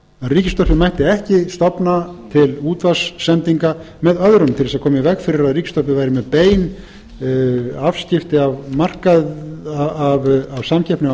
ríkisútvarpið mætti ekki stofna til útvarpssendinga með öðrum til þess að koma í veg fyrir að ríkisútvarpið væri með bein afskipti af samkeppni á